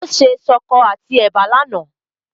Ó se ṣọkọ àti ẹ̀bà lánàá.